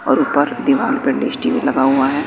और ऊपर दीवार पे डिश टी_वी लगा हुआ है।